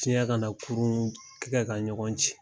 Ciɲɛ ka na kurun kɛ ka ɲɔgɔn ci.